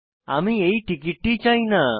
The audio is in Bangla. আমি এই টিকিটটি চাই না